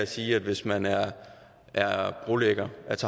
siger at hvis man er brolægger